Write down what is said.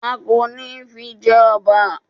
A kò ní fi jẹ ọba